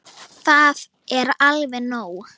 Það er alveg nóg.